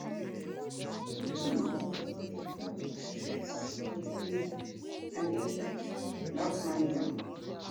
wetin you know about di impact of stress on daily life and daily life and how to manage am